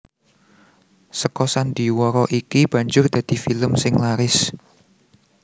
Seka sandhiwara iki banjur dadi film sing laris